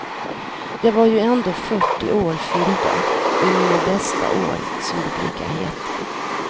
Jag var ju ändå fyrtio år fyllda och i mina bästa år som det brukar heta.